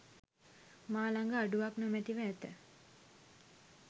මා ළඟ අඩුවක් නොමැතිව ඇත.